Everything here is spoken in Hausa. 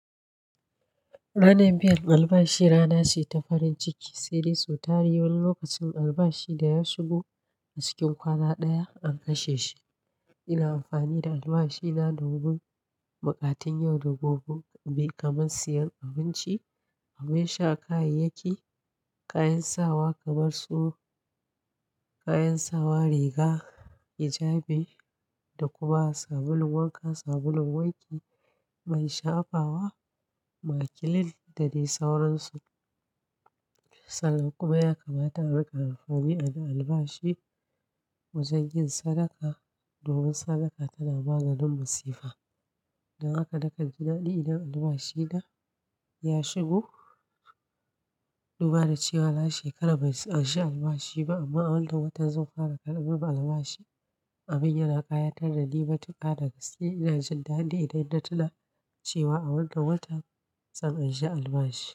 Ranar biyan albashi rana ce ta farin ciki, sai dai sau tari wani lokacin albashi da ya shigo a cikin kwana ɗaya an kashe shi. Ina amfani da albashina domin buƙatun yau da gobe kamar siyan abinci, abin sha, kayayyaki, kayan sawa kamar su kayan sawa, riga, hijabi da kuma sabulun wanka, sabulun wanki man shafawa, makilin da dai sauransu. Sannan kuma ya kamata a riƙa amfani da albashi wajen yin sadaka domin sadaka tana maganin masifa. Dan haka na kan ji daɗ idan albashina ya shigo, duba da cewa na shekara ban anshi albashi ba amma a wannan watan zan fara karɓar albashi. Abin yana ƙayatar da ni matuƙa da gaske. Ina jin dadi idan na tuna cewa a wannan watan zan anshi albashi.